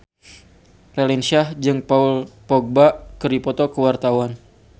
Raline Shah jeung Paul Dogba keur dipoto ku wartawan